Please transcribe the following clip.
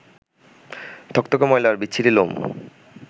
থকথকে ময়লা আর বিচ্ছিরি লোম